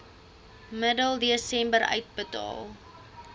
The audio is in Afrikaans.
middel desember uitbetaal